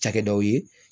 Cakɛdaw ye